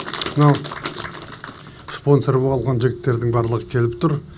мынау спонсор болған жігіттердің барлығы келіп тұр